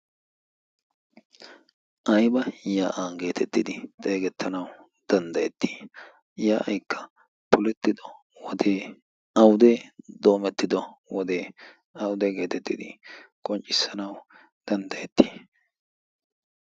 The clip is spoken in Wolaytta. Aybba yaa'a getettidi xeegetanaw danddayeti? Yaa'aykka poletiddo wodekka awude? doomettido wode awude? getettidi qonccissanaw danddayeeti?